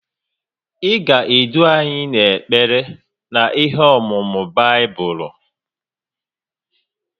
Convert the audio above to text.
Ị ga-edu anyị n’ekpere na ihe ọ̀mụ̀mụ̀ Baibụlụ